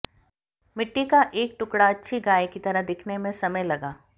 मिट्टी का एक टुकड़ा अच्छी गाय की तरह दिखने में समय लगा